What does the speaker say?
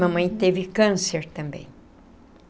Mamãe teve câncer também.